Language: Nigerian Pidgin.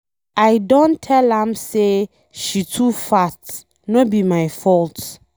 I don tell am say she too fat. No be my fault.